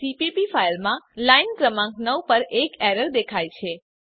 CPP ફાઈલમાં line ક્રમાંક 9 પર એક એરર દેખાય છે